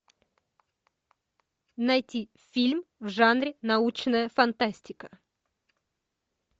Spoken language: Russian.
найти фильм в жанре научная фантастика